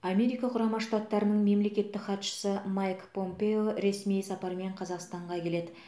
америка құрама штаттарының мемлекеттік хатшысы майк помпео ресми сапармен қазақстанға келеді